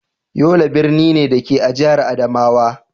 Yola birni ne, da ke a jihar Adamawa.